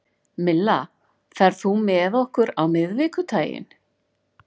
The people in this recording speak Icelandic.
Milla, ferð þú með okkur á miðvikudaginn?